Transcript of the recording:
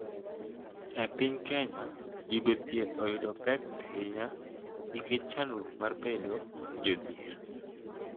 E piny Kenya, yudo thieth oyudo pek ahinya nikech chandruok mar bedo jodhier.